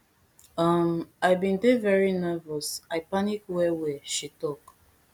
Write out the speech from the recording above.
um i bin dey very nervous i panic wellwell she tok